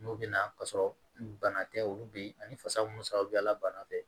N'u bɛ na ka sɔrɔ bana tɛ olu bɛ yen ani fasa munnu sa la bana tɛ